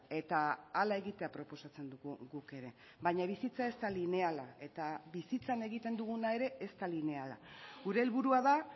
eta hala egitea proposatzen dugu guk ere baina bizitza ez da lineala eta bizitzan egiten duguna ere ez da lineala gure helburua da